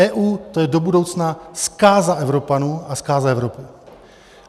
EU - to je do budoucna zkáza Evropanů a zkáza Evropy.